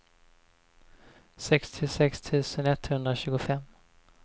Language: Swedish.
sextiosex tusen etthundratjugofem